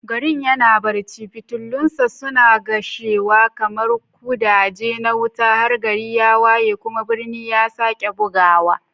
Garin yana barci, fitilunsa suna kashewa kamar ƙudaje na wuta har gari ya waye kuma birni ya sake bugawa.